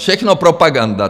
Všechno propaganda.